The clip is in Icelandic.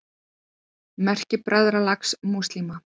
Merki Bræðralags múslíma.